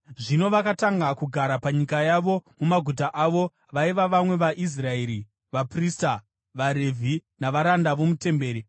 Zvino vakatanga kugara panyika yavo mumaguta avo vaiva vamwe vaIsraeri, vaprista, vaRevhi navaranda vomutemberi.